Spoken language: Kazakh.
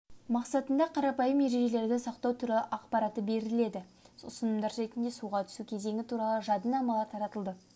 мақсатында қарапайым ережелерді сақтау туралы ақпараты беріледі ұсынымдар ретінде суға түсу кезеңі туралы жадынамалар таратылуда